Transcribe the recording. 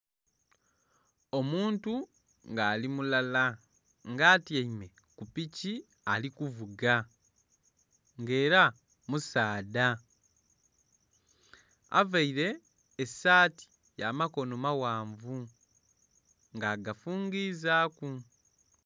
Omuntu nga ali mulala nga atyaime kupiki alikuvuga nga era musaadha avaire esaati yamakono mawanvu nga agafungizaku.